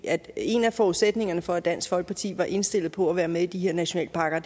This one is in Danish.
at en af forudsætningerne for at dansk folkeparti var indstillet på at være med i de her nationalparker